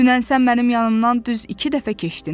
Dünən sən mənim yanımdan düz iki dəfə keçdin.